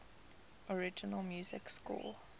original music score